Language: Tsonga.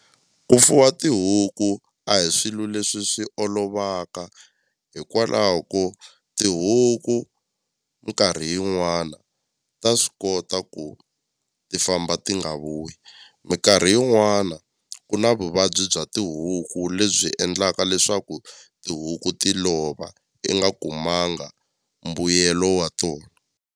Ku fuwa tihuku a hi swilo leswi swi olovaka hikwalaho ko tihuku minkarhi yin'wana ta swi kota ku ti famba ti nga vuyi minkarhi yin'wana ku na vuvabyi bya tihuku lebyi endlaka leswaku tihuku ti lova i nga kumanga mbuyelo wa tona.